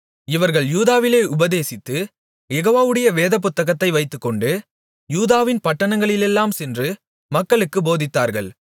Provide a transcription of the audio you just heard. இவர்கள் யூதாவிலே உபதேசித்து யெகோவாவுடைய வேதபுத்தகத்தை வைத்துக்கொண்டு யூதாவின் பட்டணங்களிலெல்லாம் சென்று மக்களுக்குப் போதித்தார்கள்